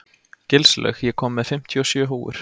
Gilslaug, ég kom með fimmtíu og sjö húfur!